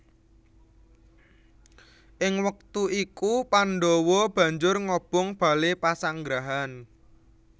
Ing wektu iku Pandhawa banjur ngobong bale pasanggrahan